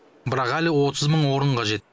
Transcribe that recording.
бірақ әлі отыз мың орын қажет